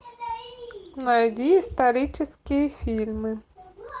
найди исторические фильмы